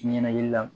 Ɲɛnakili la